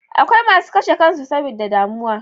Akwai masu karshe kansu saboda damuwa